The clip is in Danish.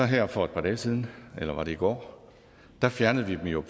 her for et par dage siden eller var det i går fjernede vi det jo